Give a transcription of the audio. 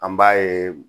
An b'a ye